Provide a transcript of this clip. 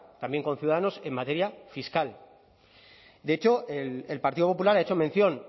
también con ciudadanos en materia fiscal de hecho el partido popular ha hecho mención